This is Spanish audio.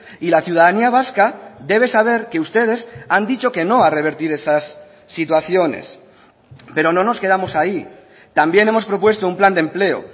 y la ciudadanía vasca debe saber que ustedes han dicho que no a revertir esas situaciones pero no nos quedamos ahí también hemos propuesto un plan de empleo